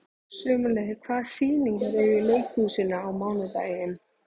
Sumarliði, hvaða sýningar eru í leikhúsinu á mánudaginn?